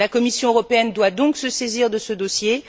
La Commission européenne doit donc se saisir de ce dossier.